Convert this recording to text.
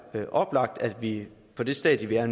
være oplagt at vi på det stadium vi er